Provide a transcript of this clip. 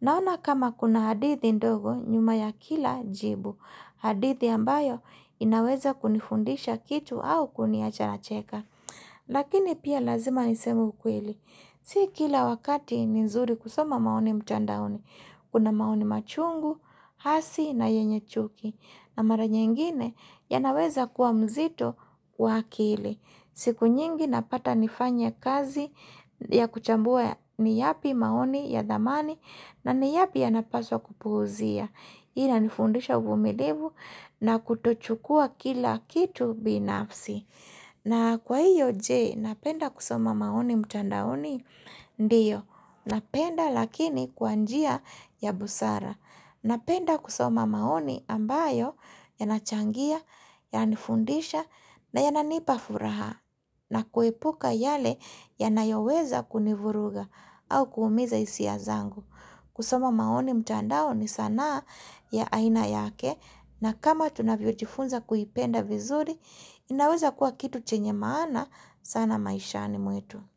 Naona kama kuna hadithi ndogo nyuma ya kila jibu hadithi ambayo inaweza kunifundisha kitu au kuniacha nacheka. Lakini pia lazima niseme ukweli. Si kila wakati ni nzuri kusoma maoni mtandaoni. Kuna maoni machungu, hasi na yenye chuki. Na mara nyingine yanaweza kuwa mzito kwa akili. Siku nyingi napata nifanye kazi ya kuchambua ni yapi maoni ya dhamani na ni yapi ya napaswa kupuuzia. Ina nifundisha uvumilivu na kutochukua kila kitu binafsi. Na kwa hiyo je, napenda kusoma maoni mtandaoni? Ndio, napenda lakini kwa njia ya busara. Napenda kusoma maoni ambayo ya nachangia, yani fundisha, na yananipea furaha. Na kuepuka yale yanayoweza kunivuruga au kuumiza hisia zangu. Kusoma maoni mtandao ni sanaa ya aina yake na kama tunavyo jifunza kuipenda vizuri, inaweza kuwa kitu chenye maana sana maishani mwetu.